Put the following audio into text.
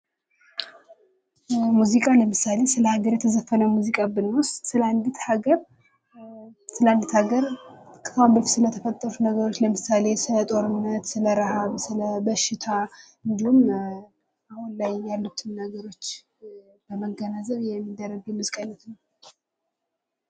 ሙዚቃ ለምሳሌ ስለ ሀገር የተዘፈነ ሙዚቃ ብንወስድ ስለ አንዲት ሀገር ስለ ተፈጠሩ ነገሮች ለምሳሌ ስለ ጦርነት ስለ ርሃብ በሽታ እንዲሁም አሁን ላይ ያሉትን ነገሮች በማገናዘብ የሚደረግ የሙዚቃ አይነት ነው።